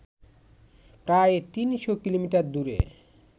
প্রায় ৩০০ কিলোমিটার দূরে